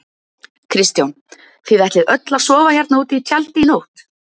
Kristján: Þið ætlið öll að sofa hérna úti í tjaldi í nótt?